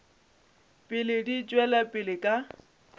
pele di tšwela pele ka